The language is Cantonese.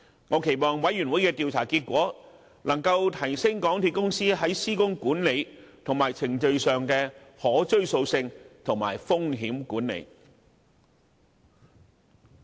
我期望調查委員會的調查結果，能夠提升港鐵公司在施工管理和程序上的可追溯性及風險管理。